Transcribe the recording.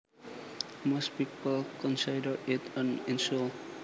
Most people consider it an insult